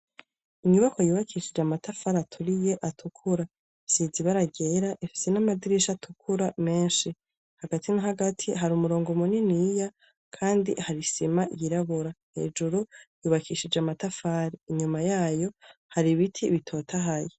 Inyubako yubakishije amatafari aturiye atukura, isize ibara ryera ifise n'amadirisha atukura menshi, hagati na hagati hari umurongo muniniya kandi hari isima yirabura, hejuru yubakishije amatafari, inyuma yayo hari ibiti bitotahaye.